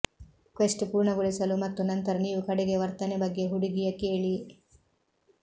quest ಪೂರ್ಣಗೊಳಿಸಲು ಮತ್ತು ನಂತರ ನೀವು ಕಡೆಗೆ ವರ್ತನೆ ಬಗ್ಗೆ ಹುಡುಗಿಯ ಕೇಳಿ